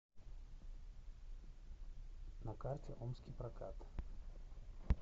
на карте омский прокат